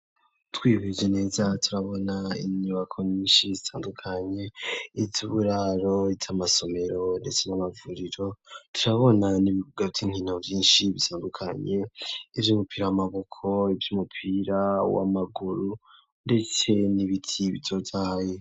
Twihweje neza, turabona inyubako, nyinshi zitandukanye, iz'uburaro, iz'amasomero, ndetse n'amavuriro; turabona n'ibibuga vy'inkino, vyinshi bitandukanye; ivy'umupira w'amaboko, ivy'umupira w'amaguru, ndetse n'ibiti, bitotahaye.